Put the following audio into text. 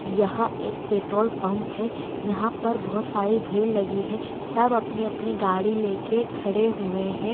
यह एक petrol pump हैं यहाँ पर बहूत सारी भीड़ लगी हैं सब अपनी-अपनी गाड़ी लेके खड़े हुए हैं।